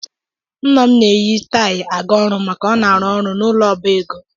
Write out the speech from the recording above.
Nna m na-eyi taayi aga ọrụ maka ọ na-arụ ọrụ n'ụlọ ọba ego.